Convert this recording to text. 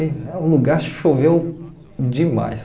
O lugar choveu demais.